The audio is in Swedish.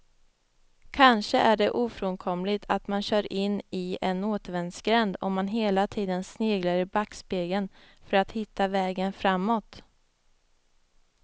Kanske är det ofrånkomligt att man kör in i en återvändsgränd om man hela tiden sneglar i backspegeln för att hitta vägen framåt.